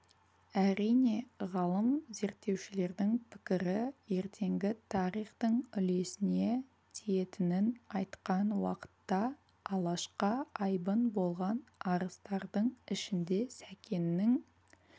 әрине ғалым зерттеушілердің пікірі ертеңгі тарихтың үлесіне тиетінін айтқан уақытта алашқа айбын болған арыстардың ішінде сәкеннің